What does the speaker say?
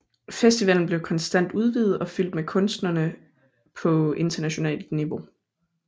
Festivalen blev konstant udvidet og fyldt med kunstnere på internationalt niveau